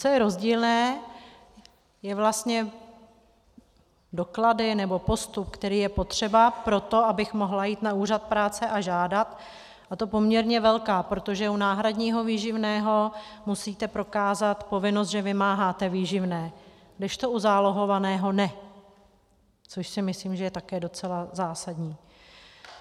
Co je rozdílné, je vlastně... doklady, nebo postup, který je potřeba pro to, abych mohla jít na úřad práce a žádat, a to poměrně velká, protože u náhradního výživného musíte prokázat povinnost, že vymáháte výživné, kdežto u zálohovaného ne, což si myslím, že je také docela zásadní.